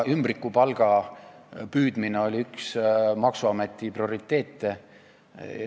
Ümbrikupalga püüdmine oli üks maksuameti prioriteete.